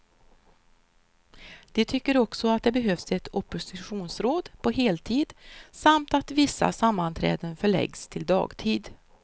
De tycker också att det behövs ett oppositionsråd på heltid, samt att vissa sammanträden förläggs till dagtid.